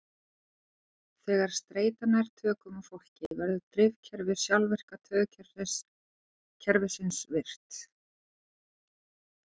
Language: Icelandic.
Þegar streita nær tökum á fólki verður drifkerfi sjálfvirka taugakerfisins virkt.